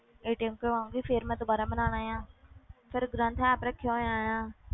ਕਰਵਾਊਂਗੀ ਫਿਰ ਮੈਂ ਦੁਬਾਰਾ ਬਣਾਉਣਾ ਆਂ ਫਿਰ ਗ੍ਰੰਥ app ਰੱਖਿਆ ਹੋਇਆ ਆ,